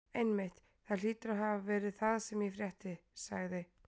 Einmitt, það hlýtur að hafa verið það sem ég frétti sagði